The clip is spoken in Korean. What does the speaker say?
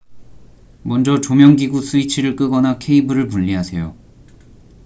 먼저 조명기구 스위치를 끄거나 케이블을 분리하세요